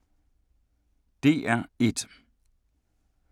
DR1